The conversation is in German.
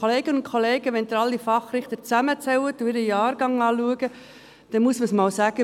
Kolleginnen und Kollegen, wenn Sie alle Fachrichter zusammenzählen und ihren Jahrgang betrachten, dann muss man es einmal sagen: